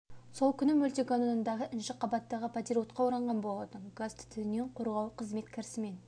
сол күні мөлтек ауданындағы інші қабаттағы пәтер отқа оранған болатын газ түтіннен қорғау қызмет кірісімен